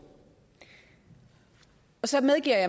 så medgiver